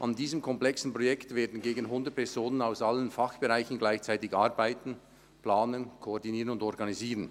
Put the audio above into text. An diesem komplexen Projekt werden gegen 100 Personen aus allen Fachbereichen gleichzeitig arbeiten, planen, koordinieren und organisieren.